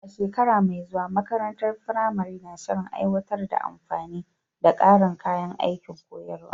A shekara mai zuwa, makarantar firamare na shirin aiwatar da amfani da ƙarin kayan aikin koyarwa.